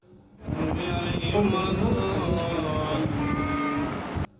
сколько сезонов в ходячих мертвецах